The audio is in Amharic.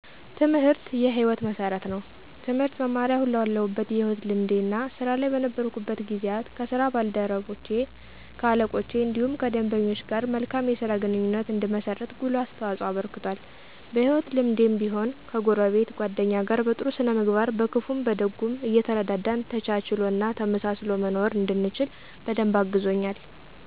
ትምህርት የ ህይወት መሠረት ነው። ትምህርት መማሬ አሁን ላለሁበት የህይወት ልምዴ እና ስራ ላይ በነበርኩበት ጊዜያት ከ ስራ ባልደረቼ ,ከ አለቆቼ እንዲሁም ከደንበኞች ጋር መልካም የስራ ግንኙነት እንድመሰርት ጉልህ አስተዋፅኦ አበርክቷል። በ ህይወት ልምዴም ቢሆን ከጎረቤት ,ጎደኛ ጋር በ ጥሩ ስነ ምግባር በክፉም በደጉም እየተረዳዳን ተቻችሎ እና ተመሳስሎ መኖርን እንድችል በደንብ አግዞኛል።